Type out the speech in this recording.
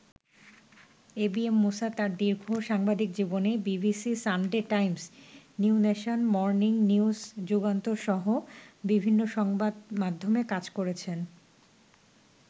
ABM Musa তাঁর দীর্ঘ সাংবাদিক জীবনে BBC, Sunday Times, New Nation, Morning News Jugantor সহ বিভিন্ন সংবাদমাধ্যমে কাজ করেছেন।